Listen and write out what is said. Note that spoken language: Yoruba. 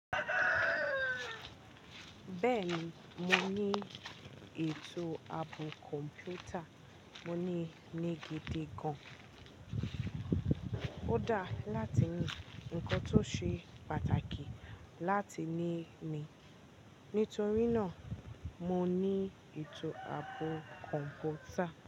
Bẹ́ẹ̀ni, mo ní ètò ààbò Kọ̀m̀pútà. Mo ní ni gidi gan. Ó dáa láti ní ǹkan tó ṣe pàtàkì láti ní mi. Nítorí náà mo ní ètò ààbò Kọ̀m̀pútà.